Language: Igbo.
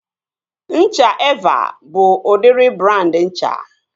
Ncha Evaa bụ udịri brandị ncha